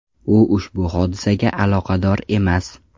U ushbu hodisaga aloqador emas.